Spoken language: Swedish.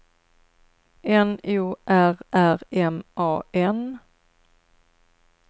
N O R R M A N